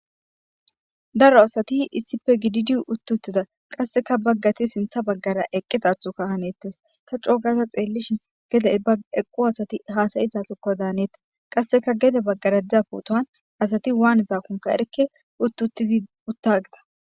daro asati issife gididiyu uttuttida qasseka baggati sintha baggara eqqitathuka hanettis ta coogaza xeellishin gede eqqu asati haasayizasikko daanetti qasseka gede baggara da putohan asati waan zaakunka erikke uttutidi utta gida